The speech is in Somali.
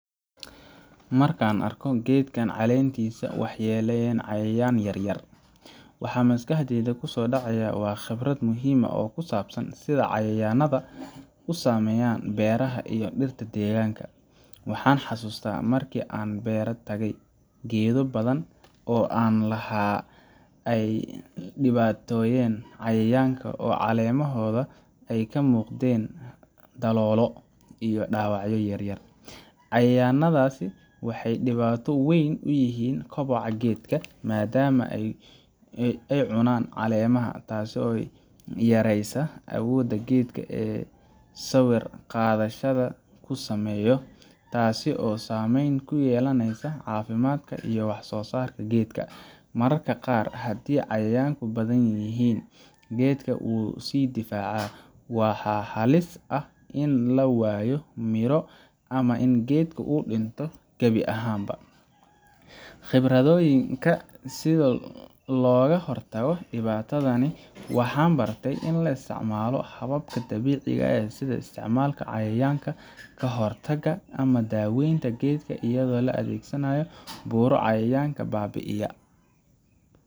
Marka aan arko geedkan caleentiisa ay waxyeeleeyeen cayayaanno yaryar, waxa maskaxdayda ku soo dhacaya khibrad muhiim ah oo ku saabsan sida cayayaannada u saameeyaan beeraha iyo dhirta deegaanka. Waxaan xasuustaa markii aan beer tegey, geedo badan oo aan lahaa ay la dhibtoonayeen cayayaanka oo caleemahooda ay ka muuqdeen daloolo iyo dhaawacyo yaryar. Cayayaannadaasi waxay dhibaato weyn ku yihiin koboca geedka, maadaama ay cunaan caleemaha, taasoo yareysa awoodda geedka ee uu sawir qaadashada ku sameeyo taasoo saameyn ku yeelanaysa caafimaadka iyo wax-soosaarka geedka. Mararka qaar, haddii cayayaanku badan yihiin, geedka wuu sii daciifaa, waana halis in la waayo midho ama in geedka uu dhinto gabi ahaanba. Khibraddayda, si looga hortago dhibaatadani, waxaan bartay in la isticmaalo hababka dabiiciga ah sida isticmaalka cayayaanka ka hor taga ama daaweynta geedka iyadoo la adeegsanayo buuro cayayaanka baabi’iyaa.